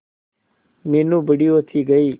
मीनू बड़ी होती गई